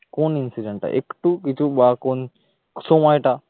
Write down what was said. কোন incident টা একটু কিছু বা কোন সময়টা?